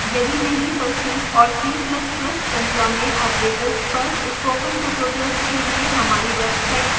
यदि नहीं तो c और c ++ श्रृंखला में operators पर स्पोकन tutorials के लिए हमारी website पर जाएं